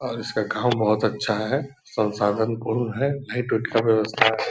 और इसका गाँव बहुत अच्छा है सनसाधन पूर्ण है लाइट उट का व्य्वस्ठा है।